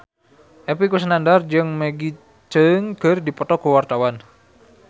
Epy Kusnandar jeung Maggie Cheung keur dipoto ku wartawan